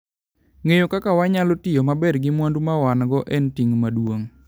Ng'eyo kaka wanyalo tiyo maber gi mwandu ma wan - go en ting ' maduong '.